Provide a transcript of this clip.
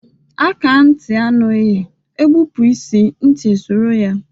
Akaá nti anụghị, egbụpụ isii nti esọrọ ya.